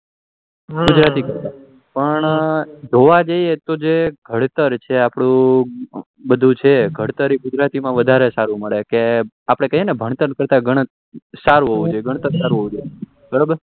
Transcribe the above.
ગુજરાતી કયું તો પણ જોવા જઈએ તો જે ઘડતર છે આપણું એ બધું છે એ ઘડતર એ ગુજરાતી માં વધારે સારુ મળે કે આપડે કહીએ ને ભણતર તથા ગણતર સારું હોવું જોઈએ ઘડતર સારું હોવું જોઈએ